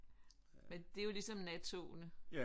Men det er jo ligesom nattogene